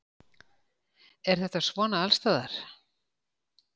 Er þetta svona allsstaðar